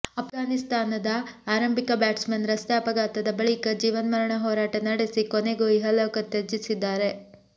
ಆಫ್ಘಾನಿಸ್ತಾನದ ಆರಂಭಿಕ ಬ್ಯಾಟ್ಸ್ಮನ್ ರಸ್ತೆ ಅಪಘಾತದ ಬಳಿಕ ಜೀವನ್ಮರಣ ಹೋರಾಟ ನಡೆಸಿ ಕೊನೆಗೂ ಇಹಲೋಕ ತ್ಯಜಿಸಿದ್ದಾರೆ